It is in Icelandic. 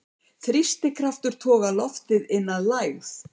Þrýstikraftur togar loftið inn að lægð.